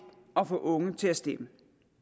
at få unge til at stemme